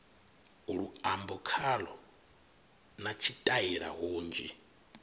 luambo khalo na tshitaila hunzhi